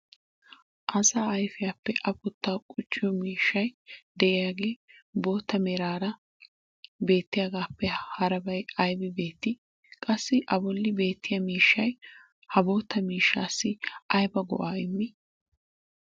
asaa ayfiyaappe apputaa qucciyo miishshay diyaagee bootta meraara beettiyaagaappe harabbay aybbi beetii? qassi a boli beetiya miishshay ha bootta miishshassi aybba go'aa immii?